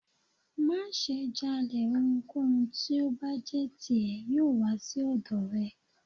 Maṣe jalè, ohúnkohún ti o bá jé tí e, yoo wa si ọdọ rẹ